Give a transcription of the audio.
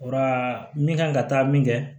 Ora min kan ka taa min kɛ